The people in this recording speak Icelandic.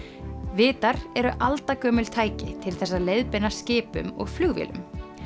vitar eru aldagömul tæki til þess að leiðbeina skipum og flugvélum